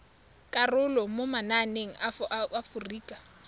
karolo mo mananeng a aforika